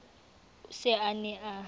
o se a ne a